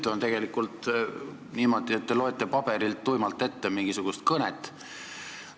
Maru tüütu on niimoodi, kui te loete paberilt tuimalt ette mingisugust kõnet.